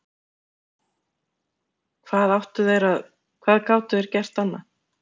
Hvað áttu þeir að, hvað gátu þeir gert annað?